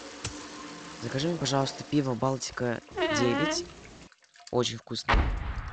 закажи мне пожалуйста пиво балтика девять очень вкусное